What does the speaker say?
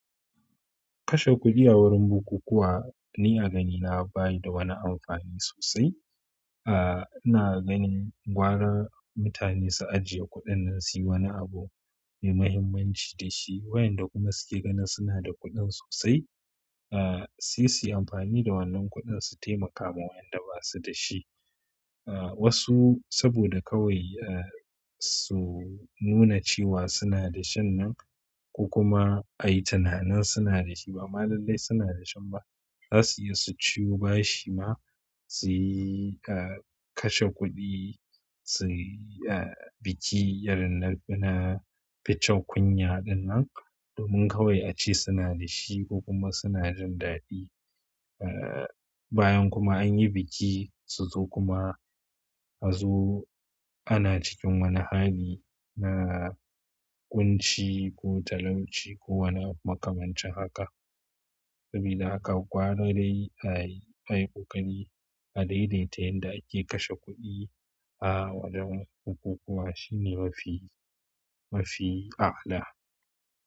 Kashe kuɗi a wurin bukukuwa ni a gani na baya da wani amfani sosai. Aaa, ina gani gwara mutane su ajiye kuɗin nan si wani abu mai mahimmanci da shi. Waƴanda kuma suke gani suna da kuɗin sosai, aa, su suyi amfani da wannan kuɗin su taimaka ma wayanda ba su da shi. Aa, wasu saboda kawai, aa, su nuna cewa suna da shan nan ko kuma ai tunanin suna da shi ba malalai suna da shan ba. Za su iya su ciwu bashi ma su, aa, kashe kuɗi su, aa, biki irinna fina ficewa kunya dinnan domin kawai a ci suna da shi ko kuma suna jin daɗi. Aa, bayan kuma anyi biki su zo kuma a zo ana cikin wani hali na ƙunci ko talauci ko wani abu makamancin haka. Sabida haka gwara dai ai, ai hukari a dai dai ta yanda ake kashe kuɗi a wajen bukukuwa shine mafi, mafi a'ala.